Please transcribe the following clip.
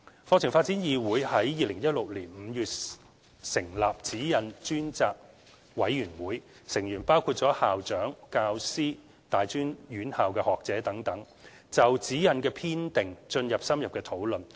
課程發展議會於2016年5月成立《指引》專責委員會，成員包括校長、教師、大專院校學者等，就《指引》的編訂進行深入的討論。